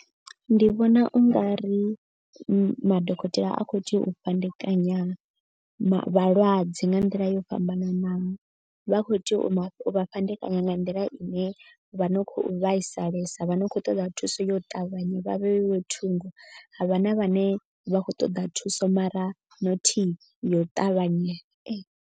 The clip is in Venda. Ndi vhona u nga ri madokotela a khou tea u fhandekanya vhalwadze nga nḓila yo fhambananaho. Vha kho tea u vha fhandekanya nga nḓila ine vha no khou vhaisalesa vha no khou ṱoḓa thuso ya u ṱavhanya. Vha vheiwe thungo havha na vhane vha khou ṱoḓa thuso mara nothi yo u ṱavhanya.